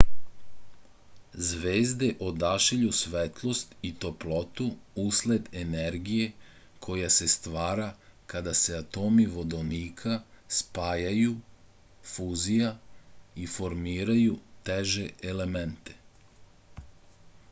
звезде одашиљу светлост и топлоту услед енергије која се ствара када се атоми водоника спајају фузија и формирају теже елементе